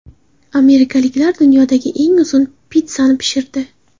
Amerikaliklar dunyodagi eng uzun pitssani pishirdi.